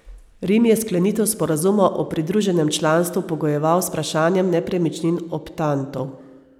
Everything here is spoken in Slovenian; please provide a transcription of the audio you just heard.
Rim je sklenitev sporazuma o pridruženem članstvu pogojeval z vprašanjem nepremičnin optantov.